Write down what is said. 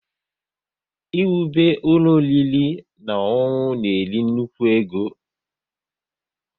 Ị wube ụlọ ọriri na ọṅụṅụ na-eri nnukwu ego